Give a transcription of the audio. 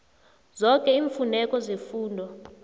zoke iimfuneko zefundo